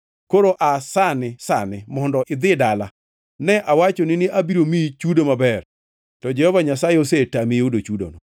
Koro aa sani sani mondo idhi dala! Ne awachoni ni abiro miyi chudo maber, to Jehova Nyasaye osetami yudo chudono.”